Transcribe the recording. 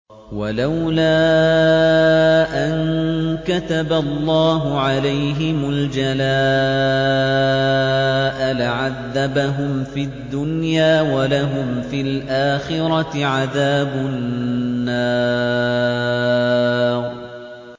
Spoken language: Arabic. وَلَوْلَا أَن كَتَبَ اللَّهُ عَلَيْهِمُ الْجَلَاءَ لَعَذَّبَهُمْ فِي الدُّنْيَا ۖ وَلَهُمْ فِي الْآخِرَةِ عَذَابُ النَّارِ